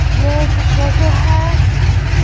यह एक फोटो है।